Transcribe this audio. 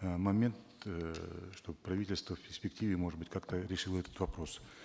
э момент эээ чтобы правительство в перспективе может быть как то решило этот вопрос